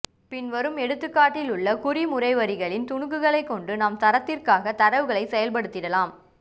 பின்வரும் எடுத்துகாட்டில் உள்ள குறிமுறைவரிகளின் துனுக்குகளைகொண்டு நாம் சரத்திற்கான தரவுகளை செயல்படுத்திடலாம்